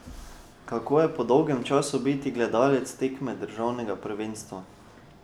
Kako je po dolgem času biti gledalec tekme državnega prvenstva?